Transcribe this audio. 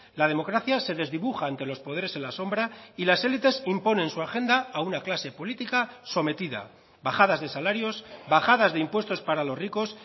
la democracia se desdibuja ante los poderes en la sombra y las élites imponen su agenda a una clase política sometida bajadas de salarios bajadas de impuestos para los ricos